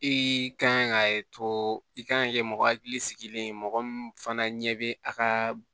I kan ka to i kan ka kɛ mɔgɔ hakili sigilen ye mɔgɔ min fana ɲɛ bɛ a ka